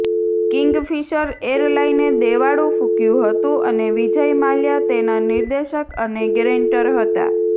Kingfisher એરલાઇને દેવાળું ફૂક્યું હતું અને વિજય માલ્યા તેના નિર્દેશક અને ગેરેંટર હતા